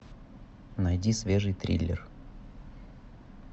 найди свежий триллер